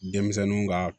Denmisɛnninw ka